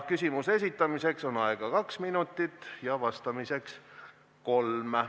Küsimuse esitamiseks on aega kaks minutit ja vastamiseks kolm.